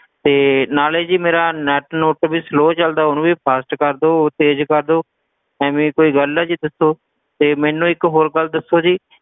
ਤੇ ਨਾਲੇ ਜੀ ਮੇਰਾ net ਨੁਟ ਵੀ slow ਚਲਦਾ ਉਹਨੂੰ ਵੀ fast ਕਰਦੋ ਤੇਜ਼ ਕਰਦੋ, ਐਵੇਂ ਕੋਈ ਗੱਲ ਆ ਜੀ ਦੱਸੋ ਤੇ ਮੈਨੂੰ ਇੱਕ ਹੋਰ ਗੱਲ ਦੱਸੋ ਜੀ,